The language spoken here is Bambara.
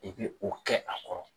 I bi o kɛ a kɔrɔ.